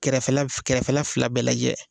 Kɛrɛfɛla fila bɛɛ lajɛ